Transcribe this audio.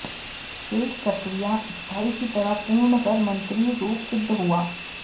शेष प्रक्रिया स्थायी की तरह पूर्ण कर मन्त्री रूप सिद्ध हुआ